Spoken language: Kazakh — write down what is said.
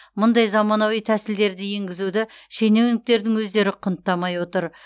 мұндай заманауи тәсілдерді енгізуді шенеуніктердің өздері құнттамай отыр